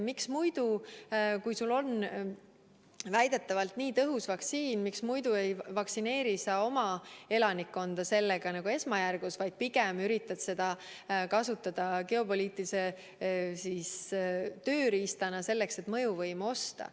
Miks muidu, kui sul on väidetavalt nii tõhus vaktsiin, ei vaktsineeri sa sellega oma elanikkonda esmajärgus, vaid pigem üritad seda kasutada geopoliitilise tööriistana, et mõjuvõimu osta.